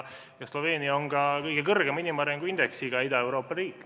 Sloveenia on ka inimarengu indeksis kõige kõrgemal olev Ida-Euroopa riik.